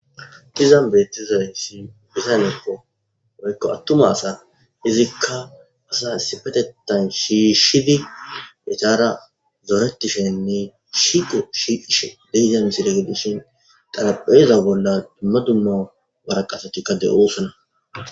Dizan beettizay si bisanekko woykko attuma asa hizikka asasifetetan shiishshidi etara zooretishenne shite shiish dehiza misire gedishin qalapheeza bolla dumma dumma maraqasotikka de7osana.